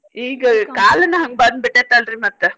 ಈಗ ಕಾಲನ್ ಹಂಗ್ ಬಂದ್ ಬಿಟ್ಟೆತಿ ಅಲ್ರಿ ಮತ್ತ.